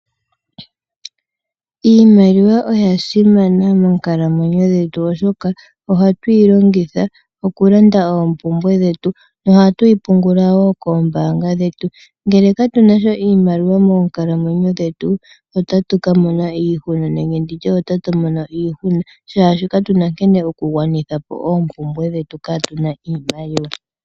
Iimaliwa oya simana moonkalamwenyo dhetu oshoka ohatu yi longitha okulanda oompumbwe dhetu, nohatu yi pungula wo koombaanga dhetu. Ngele katu na sha iimaliwa moonkalamwenyo dhetu, otatu ka mona iihuna, nenge ndi tye otatu mono iihuna shaashi katu na nkene tu na oku gwanitha po oompumbwe dhetu kaatu na iimaliwa.